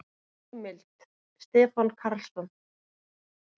Heimild: Stefán Karlsson.